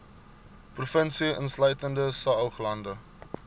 provinsie insluitende saoglande